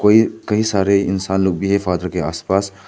ये कई सारे इंसान लोग भी है फादर के आस पास।